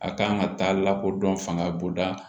A kan ka taa lakodɔn fanga bonda kan